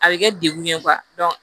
A bɛ kɛ dekun ye